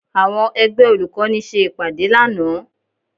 Àwọn ẹgbẹ́ olùkọ́ni ṣe ìpàdé lánàá